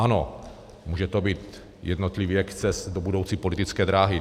Ano, může to být jednotlivý exces do budoucí politické dráhy.